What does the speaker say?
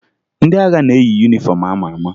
Ndị agha na-eyi yunifọmụ a ma ama